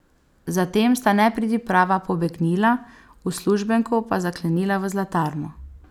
Zatem sta nepridiprava pobegnila, uslužbenko pa zaklenila v zlatarno.